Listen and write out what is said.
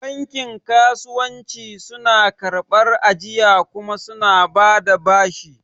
Bankin kasuwanci suna karɓar ajiya kuma suna bada bashi